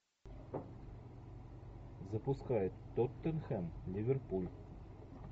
запускай тоттенхэм ливерпуль